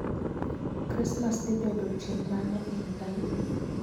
Krismas dhi bedo chieng ' mane e higani?